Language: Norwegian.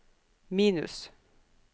minus